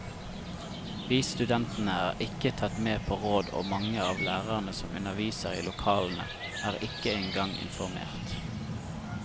Vi studentene er ikke tatt med på råd og mange av lærerne som underviser i lokalene, er ikke en gang informert.